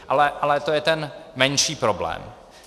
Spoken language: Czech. Ale to je ten menší problém.